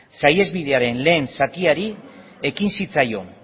saihesbidearen lehen zatiari ekin zitzaion